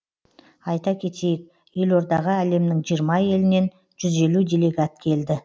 айта кетейік елордаға әлемнің жиырма елінен жүз елу делегат келді